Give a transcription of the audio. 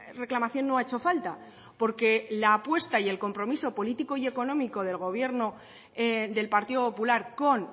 reclamación no ha hecho falta porque la apuesta y el compromiso político y económico del gobierno del partido popular con